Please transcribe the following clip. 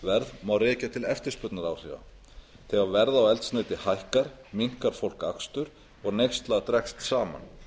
verð má rekja til eftirspurnaráhrifa þegar verð á eldsneyti hækkar minnkar fólk akstur og neyslan dregst saman